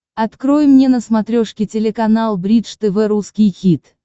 открой мне на смотрешке телеканал бридж тв русский хит